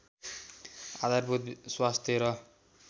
आधारभूत स्वास्थ्य र